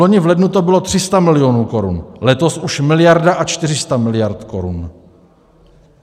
Vloni v lednu to bylo 300 milionů korun, letos už miliarda a 400 miliard (?) korun.